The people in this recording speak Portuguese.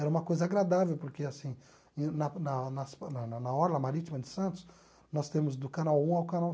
Era uma coisa agradável, porque, assim, em na na na na na na na Orla Marítima de Santos, nós temos do canal um ao canal